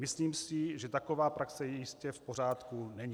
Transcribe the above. Myslím si, že taková praxe jistě v pořádku není.